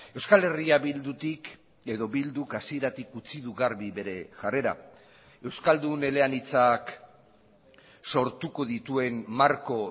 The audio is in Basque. euskal herria bildutik edo bilduk hasieratik utzi du garbi bere jarrera euskaldun eleanitzak sortuko dituen marko